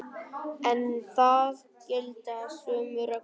En þar gilda sömu reglur.